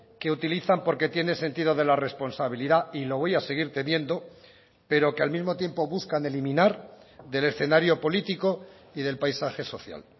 que utilizan porque tiene sentido de la responsabilidad y lo voy a seguir teniendo pero que al mismo tiempo buscan eliminar del escenario político y del paisaje social